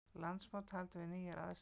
Landsmót haldið við nýjar aðstæður